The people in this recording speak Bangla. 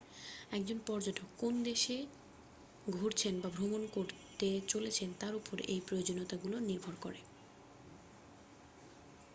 একজন পর্যটক কোন কোন দেশ ঘুরেছেন বা ভ্রমণ করতে চলেছেন তার উপর এই প্রয়োজনীয়তাগুলি নির্ভর করে